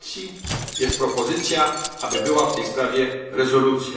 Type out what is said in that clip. A zatem jest propozycja, aby była w tej sprawie rezolucja.